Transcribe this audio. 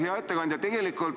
Hea ettekandja!